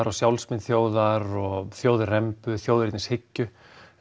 og sjálfsmynd þjóðar og þjóðrembu þjóðernishyggju